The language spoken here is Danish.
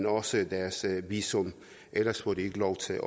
også deres visum ellers får de ikke lov til at